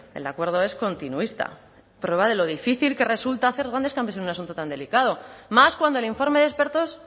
el acuerdo es continuista prueba de lo difícil que resulta hacer grandes cambios en un asunto tan delicado más cuando el informe de expertos